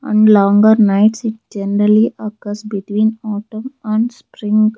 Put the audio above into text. And longer nights it generally occurs between autumn and spring.